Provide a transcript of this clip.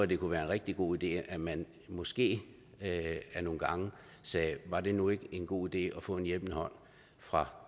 det kunne være en rigtig god idé at man måske ad nogle gange sagde var det nu ikke en god idé at få en hjælpende hånd fra